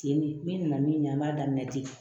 Tiɲɛ min nana min ɲɛ an b'a daminɛ ten